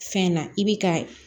Fɛn na i bi ka